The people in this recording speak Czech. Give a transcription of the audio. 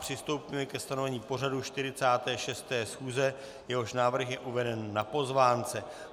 Přistoupíme ke stanovení pořadu 46. schůze, jehož návrh je uveden na pozvánce.